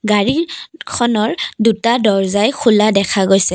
গাড়ীখনৰ দুটা দৰ্জ্জাই খোলা দেখা গৈছে।